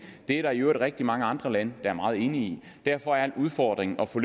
det er der i øvrigt rigtig mange andre lande der er meget enige i derfor er udfordringen at få